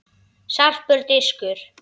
Sarpur- Diskur.